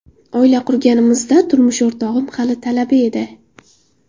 Oila qurganimizda, turmush o‘rtog‘im hali talaba edi.